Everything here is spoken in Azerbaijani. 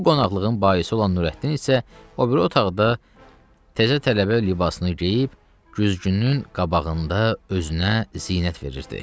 Bu qonaqlığın baisi olan Nurəddin isə o biri otaqda təzə tələbə libasını geyib güzgünün qabağında özünə zinət verirdi.